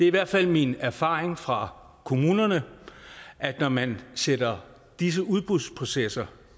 i hvert fald min erfaring fra kommunerne at når man sætter disse udbudsprocesser